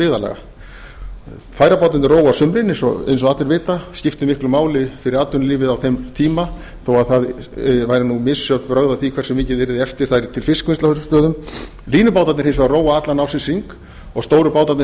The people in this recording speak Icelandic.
byggðarlaga færabátarnir róa á sumrin eins og allir vita skipti miklu máli fyrir atvinnulífið á þeim tíma þó að það væru misjöfn brögð að því hversu mikið yrði eftir færi til fiskvinnslu á þessum stöðum línubátarnir hins vegar róa allan ársins hring og stóru bátarnir